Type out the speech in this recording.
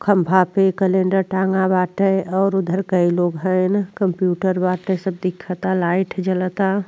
खम्भा पे क्लेंडेर टांगा बाटे और उधर कई लोग हैं। कंप्यूटर बाटे सब दिखता लाइट जलता।